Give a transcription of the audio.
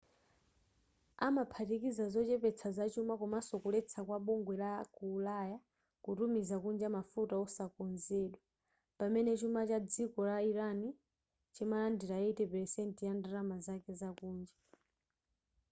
amaphatikiza zochepetsa zachuma komanso kuletsa kwa bugwe la ku ulaya kutumiza kunja mafuta osakonzedwa pamene chuma cha dziko la iran chimalandira 80% ya ndalama zake zakunja